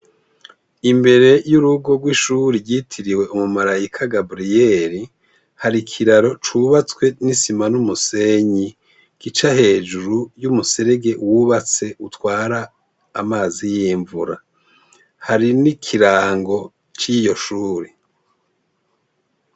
Imbere y'urugo rw'ishure ry'itiriwe Umumarayika Gabriyeri, hari ikiraro c'ubatswe n'isima n'umusenyi, gica hejuru y'umuserege wubatse utwara amazi y'imvura. Hari n'ikirango c'iyo shure.